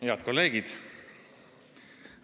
Head kolleegid!